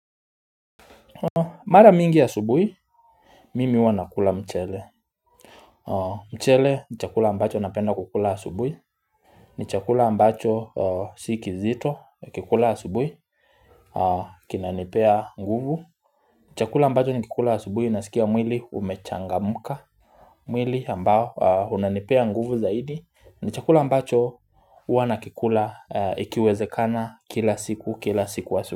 Mara mingi ya asubui, mimi huwa nakula mchele mchele ni chakula ambacho napenda kukula asubui ni chakula ambacho siki zito, ukikula asubui kina nipea nguvu Chakula ambacho nikikula asubui, nasikia mwili umechangamka mwili ambao, unanipea nguvu zaidi ni chakula ambacho, huwana kikula ikiwezekana kila siku, kila siku asubui.